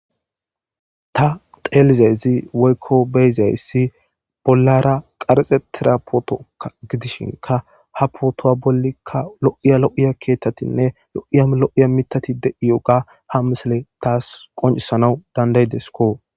Ta teelizasi woykko beyzayssi bollara qarxetira puutokka gidishinka ha puutuwa bollikka lo'iya lo'iya keettatinne lo'iya lo'iya mitati de'iyogey ha misele taas qoncisanaw danda'idessikko